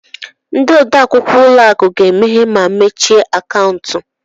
Ndị odeakwụkwọ ụlọ akụ ga-emeghe ma mechie akaụntụ.